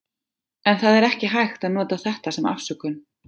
En það er ekki hægt að nota þetta sem afsökun.